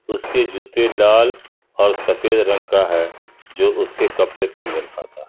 उसके जूते लाल और सफेद रंग का है जो उसके कपड़े से मेल खाता है।